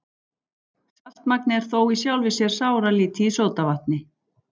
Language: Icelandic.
Saltmagnið er þó í sjálfu sér sáralítið í sódavatni.